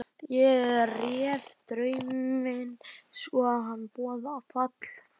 Ég réð drauminn svo að hann boðaði fall föður þíns.